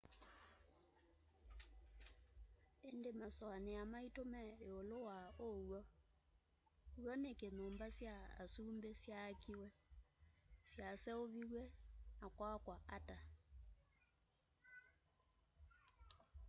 indi masuania maitu me iulu wa uw'o w'o niki nyumba sya asumbi syaakiwe syaseuviw'e na kwakwa ata